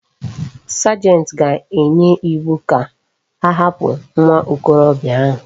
Sergeant ga enye iwu ka ahapu nwa okorobia ahu